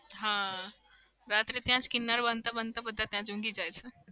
હા રાત્રે ત્યાં જ કીન્નાર બાંધતા-બાંધતા બધા ત્યાં જ ઊંઘી જાય છે.